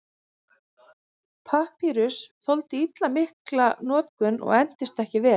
Papýrus þoldi illa mikla notkun og entist ekki vel.